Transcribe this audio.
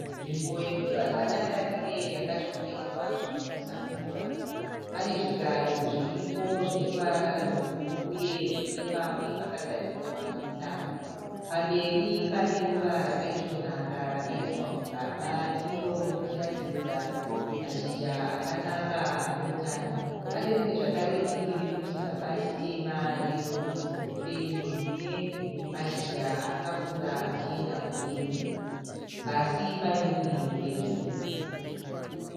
Nzvimbo yekuti vanhu vatandarire yakashongedzwa zvinonwisa mvura. Pane zvigaro zviripo zvine ruvara rwebhuruu uye zvine pamwe pakagadzirwa netsanga. Pamberi pane ruva rakaisvonaka rakaiswa mugaba iro richiratidza mashizha akanaka aneutano, pane rimwe zvekare diki riri muchigaba chitema rerudzi rwefeni rine mashizha akakura achienda mudenga . Pasi pane uriri hwegirini.